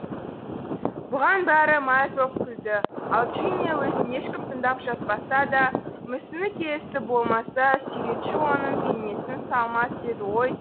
бұған бәрі мәз боп күлді ал джиния өзін ешкім тыңдап жатпаса да мүсіні келісті болмаса суретші оның бейнесін салмас еді ғой